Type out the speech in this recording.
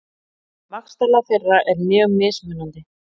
Vaxtarlag þeirra er mjög mismunandi.